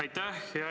Aitäh!